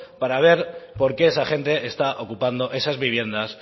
para ver por qué esa gente está ocupando esas viviendas